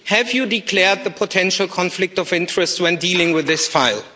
Have you declared the potential conflict of interest when dealing with this file?